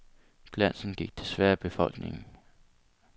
Glansen gik desværre af befolkningen.